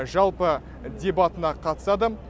жалпы дебатына қатысады